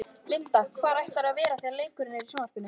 Linda: Hvar ætlarðu að vera þegar leikurinn er í sjónvarpinu?